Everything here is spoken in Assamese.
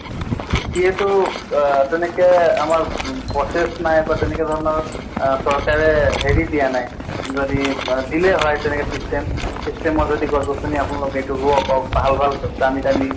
যিহেতু আহ তেনেকে আমাৰ উ process নাই বা তেনেনে ধৰণৰ আহ চৰকাৰে হেৰি দিয়া নাই। যদি মা দিলে হয় তেনেকে system system ত যদি গছ গছ্নি আপোনালোক এইটো ৰোৱক ভাল ভাল দামি দামি